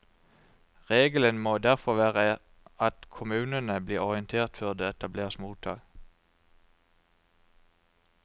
Regelen må derfor være at kommunene blir orientert før det etableres mottak.